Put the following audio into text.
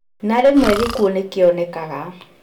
Na rĩmwe gĩkuũ nĩkĩonekaga